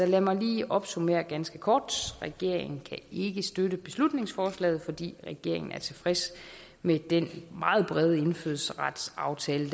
lad mig lige opsummere ganske kort regeringen kan ikke støtte beslutningsforslaget fordi regeringen er tilfreds med den meget brede indfødsretsaftale